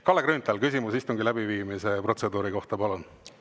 Kalle Grünthal, küsimus istungi läbiviimise protseduuri kohta, palun!